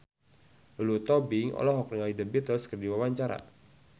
Lulu Tobing olohok ningali The Beatles keur diwawancara